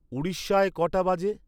উড়িষ্যায় কটা বাজে?